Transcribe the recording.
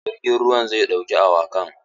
Jirgin ruwan zai ɗauki awakan.